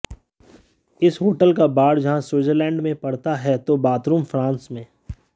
इस होटल का बार जहां स्विट्जरलैंड में पड़ता है तो बाथरूम फ्रांस में